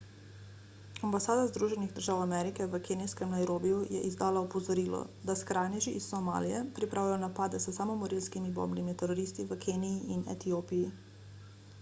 ambasada združenih držav amerike v kenijskem nairobiju je izdala opozorilo da skrajneži iz somalije pripravljajo napade s samomorilskimi bombnimi teroristi v keniji in etiopiji